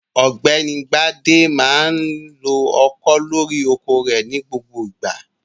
OỌ̀gbẹ́ni Bádé máa ń lo ọkọ́ lórí oko rẹ̀ ní gbogbo ìgbà.